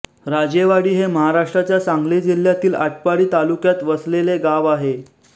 राजेवाडी हे महाराष्ट्राच्या सांगली जिल्ह्यातील आटपाडी तालुक्यात वसलेले गाव आहे